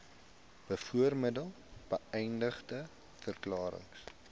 bovermelde beëdigde verklarings